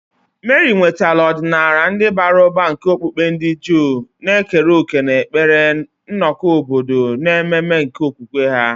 Meri nwetara ọdịnala ndị bara ụba nke okpukpe ndị Juu, na-ekere òkè n'ekpere, nnọkọ obodo, na ememe nke okwukwe ha.